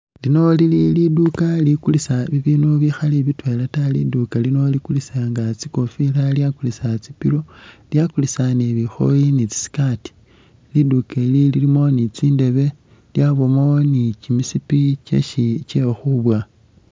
Lino lili liduka lilikulisa bibindu bikhali bitwela ta, liduka lino likulisa nga tsikofila lyakulisa tsipilo lyakulisa ni bikhooyi ni tsiskaati liduka ili lilimo ni tsi ndebe lyabamo ni kimisipi kyesi kyekhukhwibowa